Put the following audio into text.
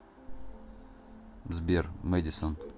сбер мэдисон